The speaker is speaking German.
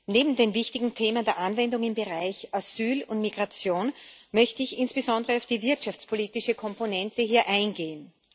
Neben den wichtigen Themen der Anwendung im Bereich Asyl und Migration möchte ich hier insbesondere auf die wirtschaftspolitische Komponente eingehen.